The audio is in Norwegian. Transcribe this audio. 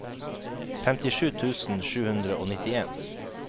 femtisju tusen sju hundre og nittien